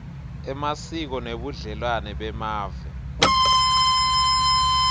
emasiko nebudlelwane bemave